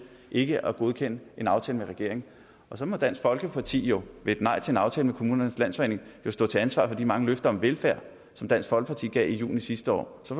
ikke at godkende en aftale med regeringen så må dansk folkeparti jo ved et nej til en aftale med kommunernes landsforening stå til ansvar for de mange løfter om velfærd som dansk folkeparti gav i juni sidste år så